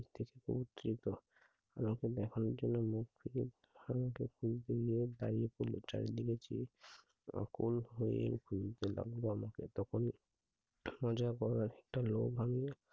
দেখে পৌত্রিত। আমাকে দেখানোর জন্য মুখ ফিরিয়ে দাঁড়িয়ে পড়ল। চারিদিকে চেয়ে, আকুল হয়ে ভুলতে লাগল আমাকে তখনি খাজা পড়ার একটা লোক আনিয়ে